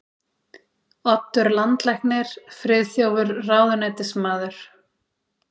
Oddur landlæknir, Friðþjófur ráðuneytismaður